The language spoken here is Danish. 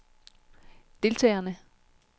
deltagerne